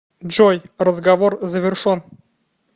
джой разговор завершон